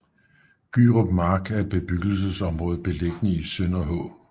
Gyrup Mark er et bebyggelsesområde beliggende i Sønderhå